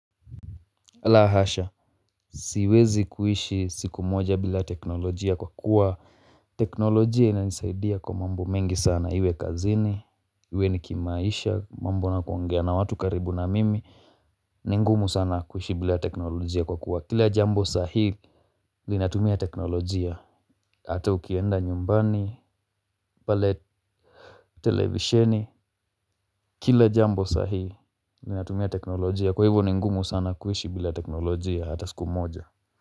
La hasha, siwezi kuishi siku moja bila teknolojia kwa kuwa teknolojia inanisaidia kwa mambo mengi sana, iwe kazini, iwe ni kimaisha, mambo nakuongea na watu karibu na mimi, ni ngumu sana kuishi bila teknolojia kwa kuwa, kila jambo sahii linatumia teknolojia, hata ukienda nyumbani, pale televisheni, kila jambo sahii linatumia teknolojia, kwa hivo ni ngumu sana kuishi bila teknolojia hata siku moja.